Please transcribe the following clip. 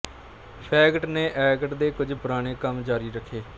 fact ਨੇ act ਦੇ ਕੁਝ ਪੁਰਾਣੇ ਕੰਮ ਜਾਰੀ ਰੱਖੇ